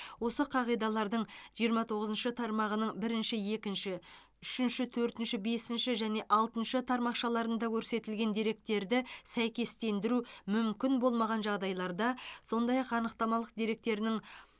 осы қағидалардың жиырма тоғызыншы тармағының бірінші екінші үшінші төртінші бесінші және алтыншы тармақшаларында көрсетілген деректерді сәйкестендіру мүмкін болмаған жағдайларда сондай ақ анықтамалық деректерінің